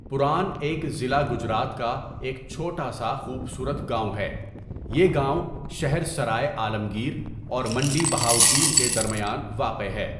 پُران ايک ضلع گجرات کا ایک چھوٹا سا خوبصورت گاؤں ہے يہ گاؤں شہر سراۓعالمگير اور منڈی بہاؤالدين کے درميان واقع ہے.